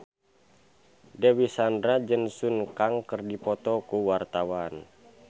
Dewi Sandra jeung Sun Kang keur dipoto ku wartawan